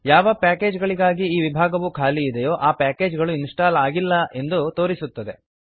ಯಾವ ಪ್ಯಾಕೇಜ್ ಗಳಿಗಾಗಿ ಈ ವಿಭಾಗವು ಖಾಲಿ ಇದೆಯೋ ಆ ಪ್ಯಾಕೇಜ್ ಗಳು ಇನ್ಸ್ಟಾಲ್ ಆಗಿಲ್ಲ ಎಂದು ತೋರಿಸುತ್ತದೆ